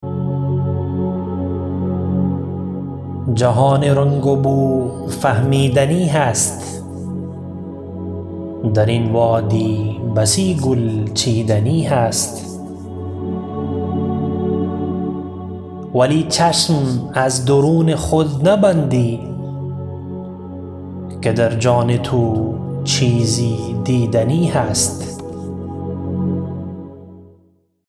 جهان رنگ و بو فهمیدنی هست درین وادی بسی گل چیدنی هست ولی چشم از درون خود نبندی که در جان تو چیزی دیدنی هست